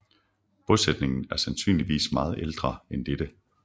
Bosætningen er sandsynligvis meget ældre end dette